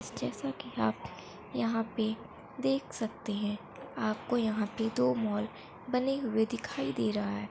जैसा की आप यहाँ पे देख सकते है आपको यहाँ पे दो मॉल बने हुए दिखाई दे रहा है।